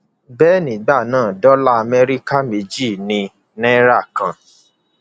bẹẹ nígbà náà dọlà amẹríkà méjì ni náírà kan